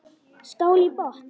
Skál í botn!